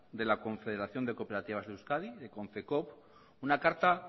de la confederación de cooperativas de euskadi de konfecoop una carta